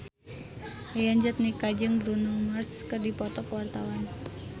Yayan Jatnika jeung Bruno Mars keur dipoto ku wartawan